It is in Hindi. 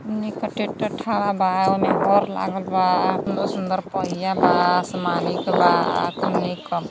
खूब निक ट्रैक्टर खड़ा बा ओमे हर लागल बा सुंदर-सुंदर पहिया बा आसमानी के बा खूब निक --